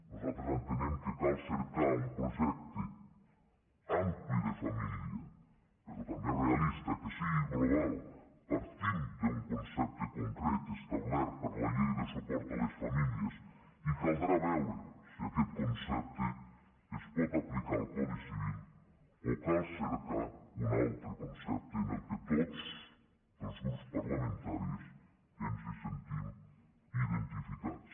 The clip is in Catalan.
nosaltres entenem que cal cercar un projecte ampli de família però també realista que sigui global partim d’un concepte concret establert per la llei de suport a les famílies i caldrà veure si aquest concepte es pot aplicar al codi civil o cal cercar un altre concepte en què tots els grups parlamentaris ens sentim identificats